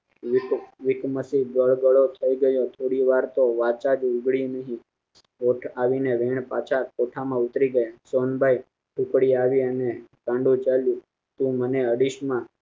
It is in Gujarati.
વિકો વીકમસી ગળગળો થાય ગયો થોડી વાર તો વાચા જ ઉંગલી નહી હેઠ આવીને રેન પાછા કોઠા માં ઉતારી ગયા સોનબાઇ ઉપડે આવી અને તાંડવ ચાલુ કે મને અડીશ માં